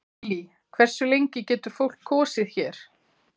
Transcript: Lillý: Hversu lengi getur fólk kosið hér?